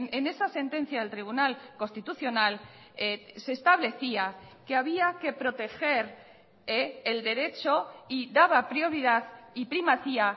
en esa sentencia del tribunal constitucional se establecía que había que proteger el derecho y daba prioridad y primacía